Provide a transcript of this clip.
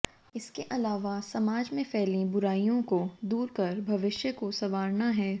इसके अलावा समाज में फैली बुराइयों को दूर कर भविष्य को संवारना है